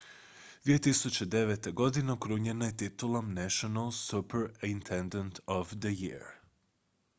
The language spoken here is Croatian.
2009. godine okrunjena je titulom national superintendent of the year